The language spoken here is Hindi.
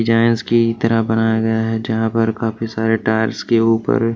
डिजाइनस की तरह बनाया गया है जहां पर काफी सारे टायर्स के ऊपर--